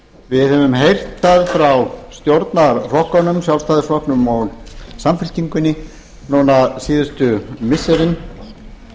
við höfum heyrt það frá stjórnarflokkunum sjálfstæðisflokknum og samfylkingunni núna síðustu missirin